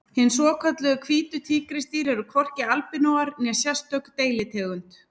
Hin svokölluðu hvítu tígrisdýr eru hvorki albinóar né sérstök deilitegund.